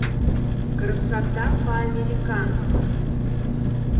красота по американски